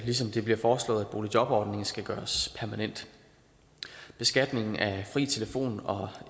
ligesom det bliver foreslået at boligjobordningen skal gøres permanent beskatningen af fri telefon og